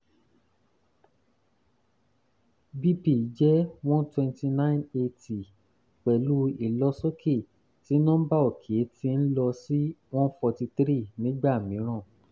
bp jẹ́ one hundred twenty nine / eighty pẹ̀lú ìlọsókè tí nọ́ḿbà òkè ti ń lọ sí one hundred forty three nígà mìíràn